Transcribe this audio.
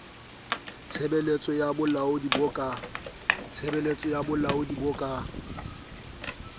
tshebeletso ya bolaodi bo ka